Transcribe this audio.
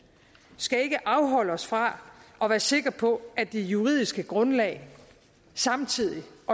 skal ikke afholde os fra at være sikre på at det juridiske grundlag samtidig